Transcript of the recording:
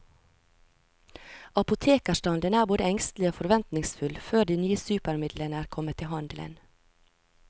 Apotekerstanden er både engstelig og forventningsfull før de nye supermidlene er kommet i handelen.